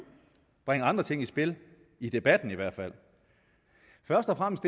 bringe andre ting i spil i debatten i hvert fald først og fremmest